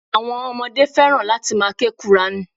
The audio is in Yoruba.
Àwọn ọmọdé fẹ́ràn láti ma ke qùrání.